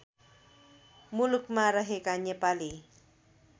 मुलुकमा रहेका नेपाली